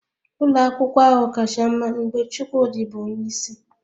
Ụlọ akwụkwọ ahụ kacha mma mgbe Chukwudi bụ onye isi